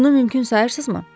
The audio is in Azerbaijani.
Bunu mümkün sayırsızmı?